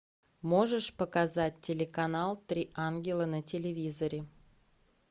можешь показать телеканал три ангела на телевизоре